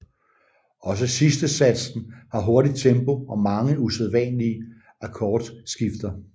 Også sidstesatsen har hurtig tempo og mange usædvanlige akkordskifter